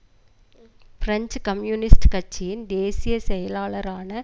French communist கட்சியின் தேசிய செயலாளரான